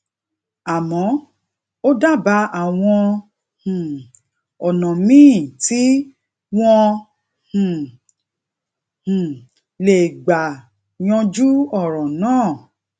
amo o dábàá àwọn um ònà míì ti won um um lè gbà yanjú òràn náà